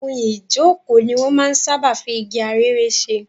Ohun ìjókòó ni wọn máa ń sáábà fi igi arère ṣe.